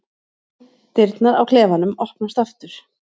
Dyrnar á klefanum opnast aftur.